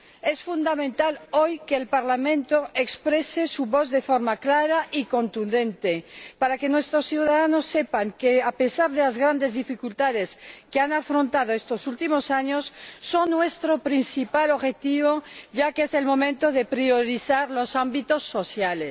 Es fundamental hoy que el Parlamento exprese su voz de forma clara y contundente para que nuestros ciudadanos sepan que, a pesar de las grandes dificultades que han afrontado estos últimos años, son nuestro principal objetivo, ya que es el momento de priorizar los ámbitos sociales.